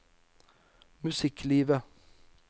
musikklivet